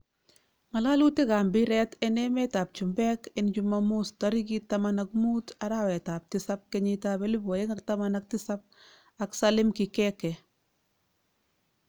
Ngalalutik ab mpiret en met ab chumpek en chumamos tarikit 15.07.2017 ak Salim Kikeke